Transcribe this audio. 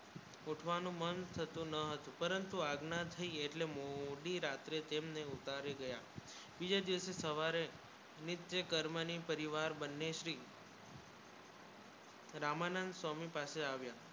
ઉઠવાનું મન કરી ના હતું પરંતુ અગ્ન્ય થી એટલે મોદી રાત્ર કેમ ને ઉતારી ગયા દિવસે સવારે નિત્ય કર્મ ને પરિવાર બન્ને શ્રી રામાનંદ સ્વામી પાસે આવ્યા